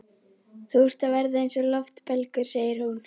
Þú ert að verða eins og loftbelgur, segir hún.